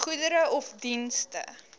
goedere of dienste